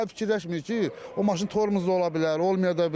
Daha fikirləşmir ki, o maşın tormozda ola bilər, olmaya da bilər.